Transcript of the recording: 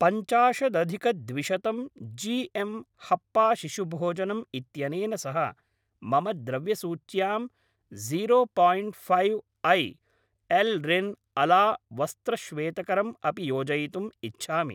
पञ्चाशदधिकद्विशतं G M हप्पा शिशुभोजनम् इत्यनेन सह मम द्रव्यसूच्यां जीरो पायिण्ट् फैव् ऐ, एल् रिन् अला वस्त्रश्वेतकरम् अपि योजयितुम् इच्छामि।